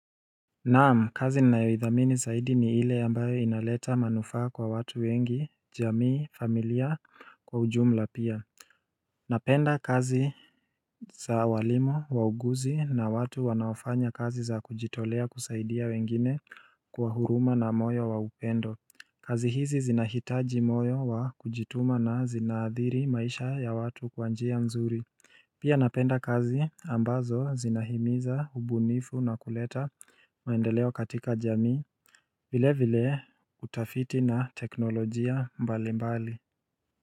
Naam kazi ninayoidhamini zaidi ni hile ambayo inaleta manufaa kwa watu wengi jamii familia kwa ujumla pia Napenda kazi za walimu, wauguzi na watu wanaofanya kazi za kujitolea kusaidia wengine kwa huruma na moyo wa upendo kazi hizi zinahitaji moyo wa kujituma na zinathiri maisha ya watu kwa njia mzuri Pia napenda kazi ambazo zinahimiza hubunifu na kuleta maendeleo katika jamii vile vile utafiti na teknolojia mbali mbali.